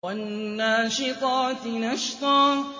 وَالنَّاشِطَاتِ نَشْطًا